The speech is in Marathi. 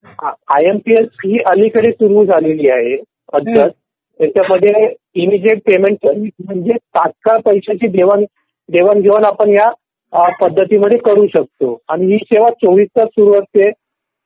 आय एम पी एस ही अलीकडे सुरू झालेली आहे. पद्धत याच्यामध्ये इमिजिएट पेमेंट म्हणजे तात्काळ पैशांची देवाण-घेवाण आपण या पद्धतीमध्ये करू शकतो. आणि ही सेवा चोवीस तास सुरू असते.